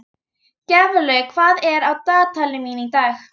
Gjaflaug, hvað er á dagatalinu mínu í dag?